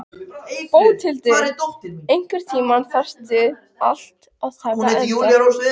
Bóthildur, einhvern tímann þarf allt að taka enda.